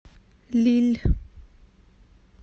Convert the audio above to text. лилль